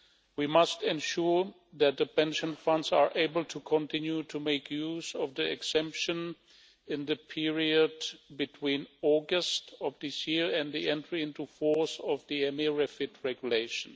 We must ensure that the pension funds are able to continue to make use of the exemption in the period between August of this year and the entry into force of the EMIR REFIT Regulation.